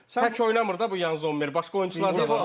Yaxşı, tək oynamır da bu Yan Zommer, başqa oyunçular da var.